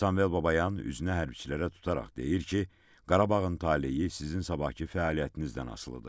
Sambel Babayan üzünə hərbiçilərə tutaraq deyir ki, Qarabağın taleyi sizin sabahkı fəaliyyətinizdən asılıdır.